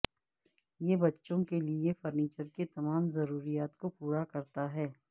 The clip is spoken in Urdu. یہ بچوں کے لئے فرنیچر کے تمام ضروریات کو پورا کرتا ہے